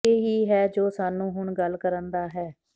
ਇਹ ਹੀ ਹੈ ਜੋ ਸਾਨੂੰ ਹੁਣ ਗੱਲ ਕਰਨ ਦਾ ਹੈ